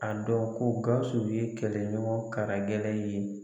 A dɔn ko GAWUSU ye kɛlɛɲɔgɔn kara gɛlɛn ye.